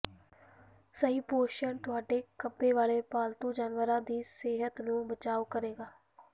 ਸਹੀ ਪੋਸ਼ਣ ਤੁਹਾਡੇ ਖੰਭੇ ਵਾਲੇ ਪਾਲਤੂ ਜਾਨਵਰਾਂ ਦੀ ਸਿਹਤ ਨੂੰ ਬਚਾਉ ਕਰੇਗਾ